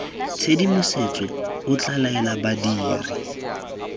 tshedimosetso o tla laela badiri